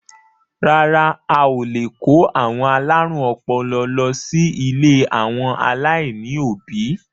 Rárá à, o lè kó àwọn alárùn ọpọlọ lọ sí ilé àwọn aláìní òbí.